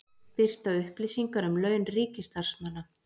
Birta upplýsingar um laun ríkisstarfsmanna